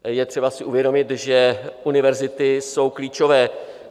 Je třeba si uvědomit, že univerzity jsou klíčové.